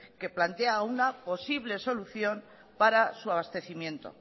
que plantea una posible solución para su abastecimiento